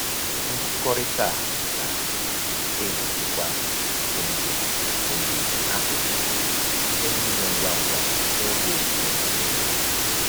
Nkụkọrịta a na-egbochikwa mfu ihe mfu ihe akụkụ site na-ime ngwa ngwa n'oge owuwe ihe ubi